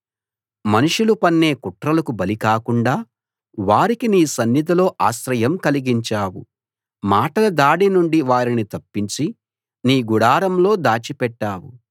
మనుషులు పన్నే కుట్రలకు బలి కాకుండా వారికి నీ సన్నిధిలో ఆశ్రయం కలిగించావు మాటల దాడినుండి వారిని తప్పించి నీ గుడారంలో దాచిపెట్టావు